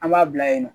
An b'a bila yen nɔ